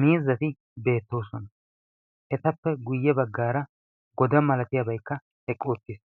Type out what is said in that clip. miizzati beettoosuwana etappe guyye baggaara goda malatiyaabaikka eqqu uttiis